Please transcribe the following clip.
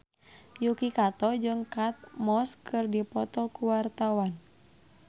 Yuki Kato jeung Kate Moss keur dipoto ku wartawan